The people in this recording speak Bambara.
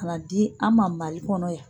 Ka na di an ma Mali kɔnɔ yan.